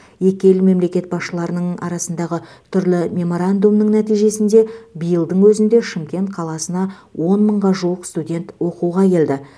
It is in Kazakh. екі ел мемлекет басшыларының арасындағы түрлі меморандумның нәтижесінде биылдың өзінде шымкент қаласына он мыңға жуық студент оқуға келді